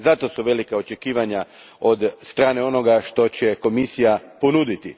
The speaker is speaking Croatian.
Zato su velika očekivanja od strane onoga što će Komisija ponuditi.